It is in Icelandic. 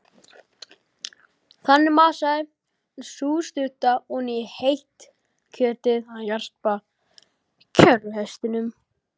Þannig masaði sú stutta oní heitt kjötið af jarpa kerruhestinum.